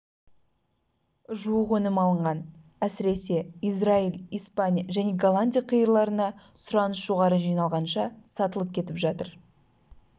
жуық өнім алынған әсіресе израиль испания және голландия қиырларына сұраныс жоғары жиналғанынша сатылып кетіп жатыр